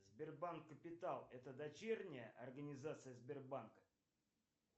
сбербанк капитал это дочерняя организация сбербанка